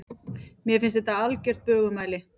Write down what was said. Mér finnst þetta vera algert bögumæli.